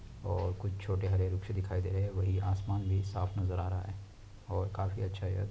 और कुछ छोटे हरे दिखाई दे रहे है वही आसमान भी साफ नजर आ रहा है और काफी अच्छा--